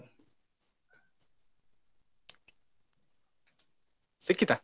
ಸಿಕ್ಕಿತಾ?